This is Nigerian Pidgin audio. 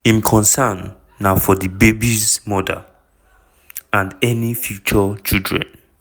im concern na for di babies' mother - and any future children.